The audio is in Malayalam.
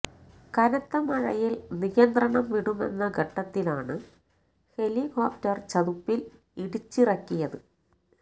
കനത്ത മഴയിൽ നിയന്ത്രണം വിടുമെന്ന ഘട്ടത്തിലാണ് ഹെലികോപ്റ്റർ ചതുപ്പിൽ ഇടിച്ചിറക്കിയത്